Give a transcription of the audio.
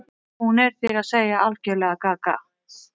Hún er, þér að segja, algerlega gaga.